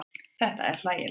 Þetta er hlægilegt.